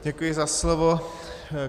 Děkuji za slovo.